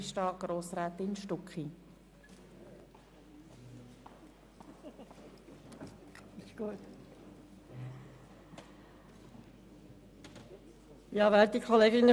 Vorhin habe ich jedenfalls den Eindruck gehabt, dass Sie die Redezeit längst nicht ausnutzen.